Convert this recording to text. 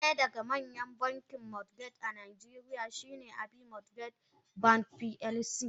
Daya daga manyan bankin mortgage a najeriya shine Abbey mortgage bank plc.